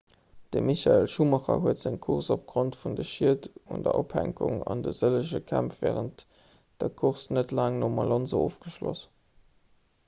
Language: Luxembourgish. de michael schumacher huet seng course opgrond vun de schied un der ophänkung an de sëllege kämpf wärend der course net laang nom alonso ofgeschloss